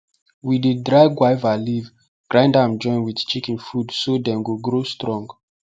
we dey dry guava leaf grind am join with chicken food so dem go grow strong